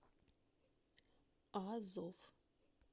азов